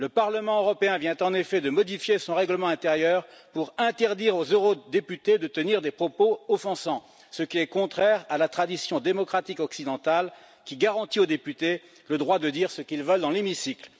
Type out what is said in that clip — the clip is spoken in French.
Le Parlement européen vient, en effet, de modifier son règlement intérieur pour interdire aux eurodéputés de tenir des propos offensants, ce qui est contraire à la tradition démocratique occidentale, qui garantit aux députés le droit de dire ce qu'ils veulent dans l'hémicycle.